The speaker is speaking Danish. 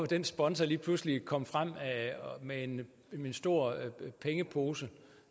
den sponsor lige pludselig kom fra med en stor pengepose